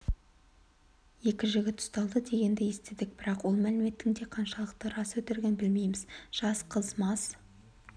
екі жігіт ұсталды дегенді естідік бірақ ол мәліметтің де қаншалықты рас-өтірігін білмейміз жас қыз мас